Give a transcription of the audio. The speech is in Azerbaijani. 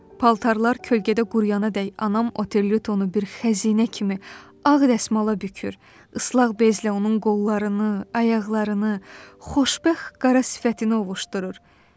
Paltarlar kölgədə quruyana dək anam Oterluytonu bir xəzinə kimi ağ rəsmala bükür, islaq bezlə onun qollarını, ayaqlarını, xoşbəxt qara sifətini ovuşdurur.